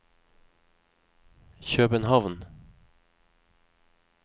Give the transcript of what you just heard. København